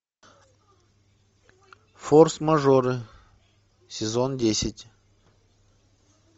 форс мажоры сезон десять